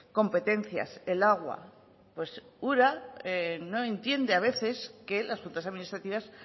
competencias el agua pues ura no entiende a veces que las juntas administrativas